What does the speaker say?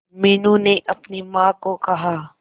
मीनू ने अपनी मां को कहा